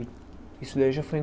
E isso daí já foi em